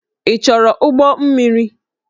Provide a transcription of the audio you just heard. Ị chọrọ ụgbọ mmiri?